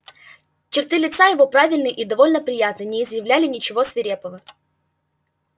черты лица его правильные и довольно приятные не изъявляли ничего свирепого